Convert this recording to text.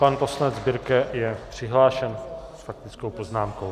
Pan poslanec Birke je přihlášen s faktickou poznámkou.